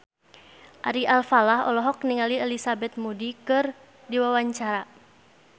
Ari Alfalah olohok ningali Elizabeth Moody keur diwawancara